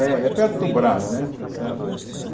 É é perto do Braz né, está certo. Não é